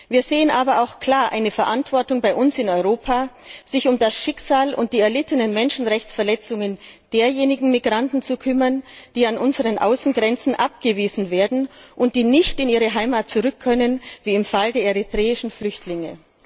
Wir sehen aber auch klar eine Verantwortung bei uns in Europa, sich um das Schicksal und die erlittenen Menschenrechtsverletzungen derjenigen Migranten zu kümmern, die an unseren Außengrenzen abgewiesen werden und die nicht in ihre Heimat zurück können, wie im Fall der eritreischen Flüchtlinge.